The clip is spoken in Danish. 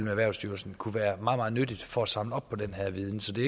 og erhvervslivet kunne være meget meget nyttigt for at samle op på den viden så det